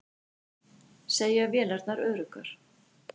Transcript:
Segja vélarnar öruggar